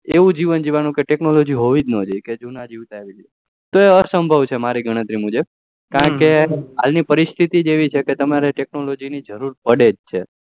એવું જીવન જીવાનું કે technology હોવી જ ના જોઈએ કે જુના જીવતા એમ તો એ અસંભવ છે મરી ગણતરી મુજબ કારણકે હાલ ની પરિશિતી જ એવી છે કે technology ની જરૂર પડે